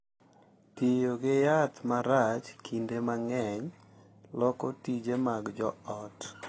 Tiyo gi yath marach kinde mang’eny loko tije mag jo ot,